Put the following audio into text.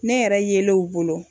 Ne yɛrɛ yele u bolo.